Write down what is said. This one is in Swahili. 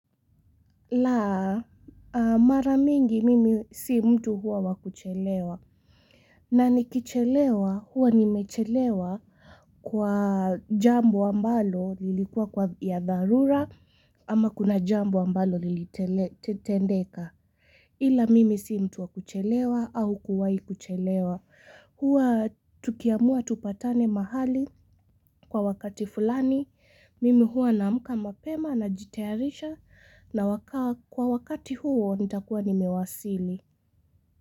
La mara mingi mimi si mtu huwa wakuchelewa na nikichelewa huwa nimechelewa kwa jambo ambalo lilikuwa kwa ya dharura ama kuna jambo ambalo lilitendeka ila mimi si mtu wa kuchelewa au kuwai kuchelewa. Huwa tukiamua tupatane mahali kwa wakati fulani, mimi huwa naamka mapema najitayarisha na kwa wakati huo nitakuwa nimewasili.